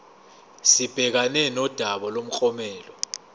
sibhekane nodaba lomklomelo